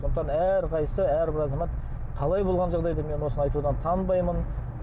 сондықтан әрқайсысы әрбір азамат қалай болған жағдайда мен осыны айтудан танбаймын